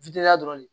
dɔrɔn de